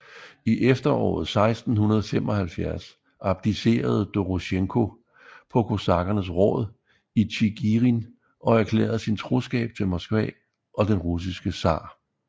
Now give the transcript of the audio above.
I efteråret 1675 abdicerede Dorosjenko på kosakkernes råd i Tjigirin og erklærede sin troskab til Moskva og den russiske zar